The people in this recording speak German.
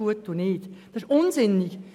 Das ist unsinnig.